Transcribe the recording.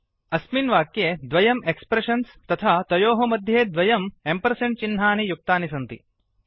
अस्मिन् वाक्ये द्वयम् एक्स्प्रेषन्स् तथा तयोः मध्ये द्वयम् एम्पर्सेण्ड् चिह्नानि युक्तानि सन्ति